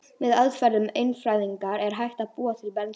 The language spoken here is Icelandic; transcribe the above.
Með aðferðum efnafræðinnar er hægt að búa til bensín.